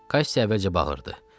Kasi əvvəlcə bağırdı.